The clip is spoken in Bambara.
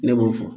Ne m'o fɔ